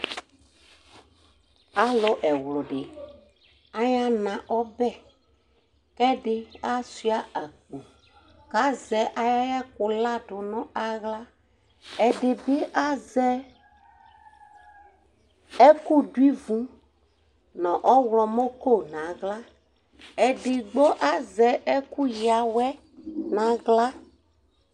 Alʋ ɛwlʋdi ayana ɔbɛ, kʋ edi asuia akpo, kʋ azɛ ayʋ ɛkʋkadʋ nʋ aɣla, ɛdibi azɛ ɛkʋ dʋ ivʋ nʋ ɔwlɔmɔko nʋ aɣla, edigbo azɛ ɛkʋya awɛ nʋ aɣla